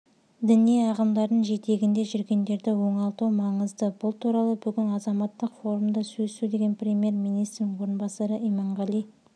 діни ағымдардың жетегінде жүргендерді оңалту маңызды бұл туралы бүгін азаматтық форумда сөз сөйлеген премьер-министрінің орынбасары иманғали